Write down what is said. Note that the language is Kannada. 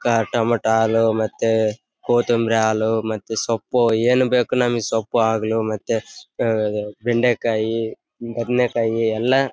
ಕ ಟೊಮೊಟೊಲು ಮತ್ತೆ ಕೊತ್ತಂಬರಿ ಅಲು ಮತ್ತೆ ಸೊಪ್ಪು ಏನ್ ಬೇಕು ನಮಿಗೆ ಸೊಪ್ಪು ಆಗ್ಲೂ ಮತ್ತೆ ಆಹ್ಹ್ ಬೆಂಡಿಕಾಯಿ ಬದನೆಕಾಯಿ ಎಲ್ಲಾ --